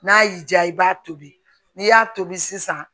N'a y'i diya i b'a tobi n'i y'a tobi sisan